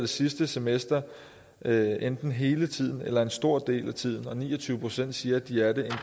sidste semester enten hele tiden eller en stor del af tiden og ni og tyve procent siger at de er det